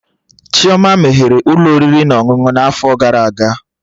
Chioma meghere Ụlọ oriri na ọṅụṅụ na afo gara aga